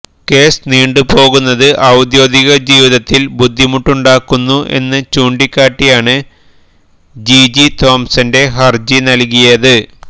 case നീണ്ടുപോകുന്നത് ഔദ്യോഗിക ജീവിതത്തില് ബുദ്ധിമുട്ടുണ്ടാക്കുന്നു എന്ന് ചൂണ്ടിക്കാട്ടിയാണ് ജിജി തോംസന്റെ ഹര്ജി നല്കിയത്